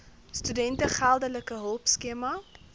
studente geldelike hulpskema